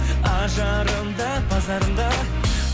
ажарым да базарым да